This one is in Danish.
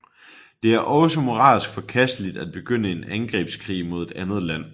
Det er også moralsk forkasteligt at begynde en angrebskrig mod et andet land